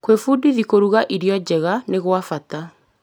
Gwĩbundithia kũruga iro njega nĩ gwa bata.